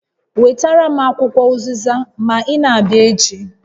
Wetara m akwụkwọ ụzịza ma ị na-abịa echi